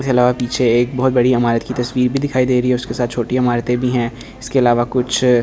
हिला पीछे एक बहुत बड़ी इमारत की तस्वीर भी दिखाई दे रही है उसके साथ छोटी इमारतें भी हैं इसके अलावा कुछ --